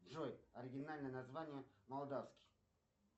джой оригинальное название молдавский